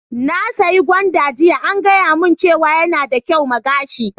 Na saya gwanda jiya, an gaya mun cewa yana da kyau ma gashi.